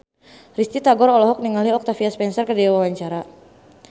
Risty Tagor olohok ningali Octavia Spencer keur diwawancara